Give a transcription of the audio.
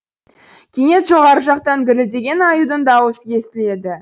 кенет жоғары жақтан гүрілдеген аюдың даусы естіледі